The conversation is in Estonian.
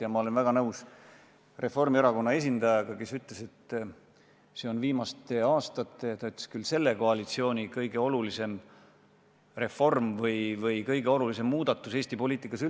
Ja ma olen väga nõus Reformierakonna esindajaga, kes ütles, et see on viimastel aastatel selle koalitsiooni kõige olulisem reform või kõige olulisem muudatus Eesti poliitikas.